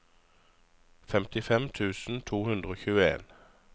femtifem tusen to hundre og tjueen